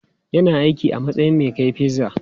Yana aiki a matsayin mai kai pizza.